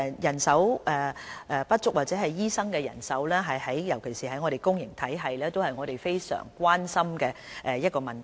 人手不足或醫生的人手不足，尤其當情況出現在公營體系，是我們非常關心的問題。